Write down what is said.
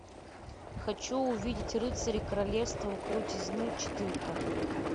хочу увидеть рыцари королевства крутизны четырка